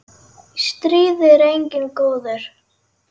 Í stríði er enginn góður.